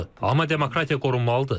Amma demokratiya qorunmalıdır.